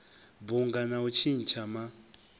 bunga na u tshintsha ma